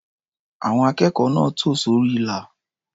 Àwọn akẹ́kọ̀ọ́ náà tò sórí ilà.